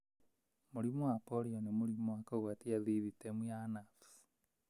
Mũrimũ wa polio nĩ mũrimũ wa kũgwatia thithitemu ya nerves.